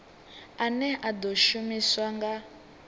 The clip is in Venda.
ane a ḓo shumiswa nga